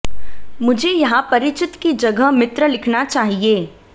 मुझे यहां परिचित की जगह मित्र लिखना चाहिए